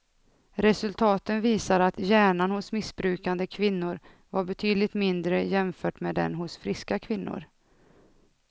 Resultaten visar att hjärnan hos missbrukande kvinnor var betydligt mindre jämfört med den hos friska kvinnor.